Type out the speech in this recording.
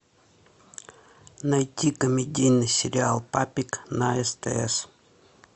найти комедийный сериал папик на стс